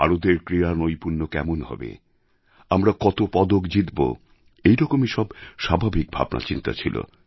ভারতের ক্রীড়ানৈপুণ্য কেমন হবে আমরা কত পদক জিতব এরকমই সব স্বাভাবিক ভাবনাচিন্তা ছিল